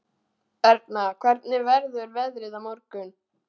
Erna, hvernig verður veðrið á morgun?